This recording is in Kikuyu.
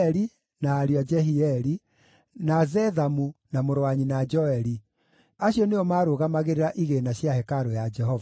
na ariũ a Jehieli, na Zethamu, na mũrũ wa nyina Joeli. Acio nĩo maarũgamagĩrĩra igĩĩna cia hekarũ ya Jehova.